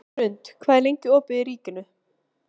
Hrund, hvað er lengi opið í Ríkinu?